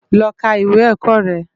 Lò ká iwé èkò rè